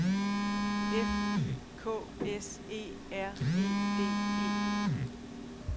F I K S E R E D E